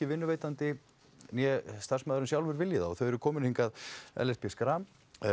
vinnuveitandi né starfsmaðurinn sjálfur vilji það og þau eru komin hingað Ellert b Schram